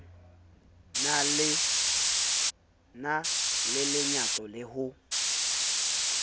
na le lenyatso le ho